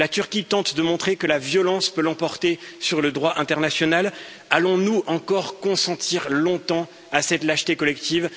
La Turquie tente de montrer que la violence peut l'emporter sur le droit international, allons nous encore consentir longtemps à cette lâcheté collective?